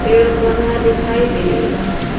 पेड़ पौधा दिखाई दे रहा है।